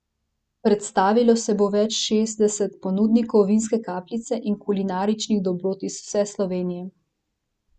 Predstavilo se bo več kot šestdeset ponudnikov vinske kapljice in kulinaričnih dobrot iz vse Slovenije.